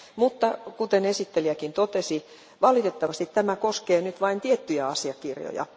Mutta, kuten esittelijäkin totesi, valitettavasti tämä koskee nyt vain tiettyjä asiakirjoja.